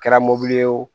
Kɛra mobili ye o